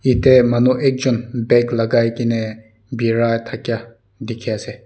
yate manu ekjon bag lagai ke ne birai thaika dikhi ase.